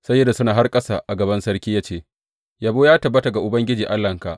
Sai ya rusuna har ƙasa a gaban sarki ya ce, Yabo ya tabbata ga Ubangiji Allahnka!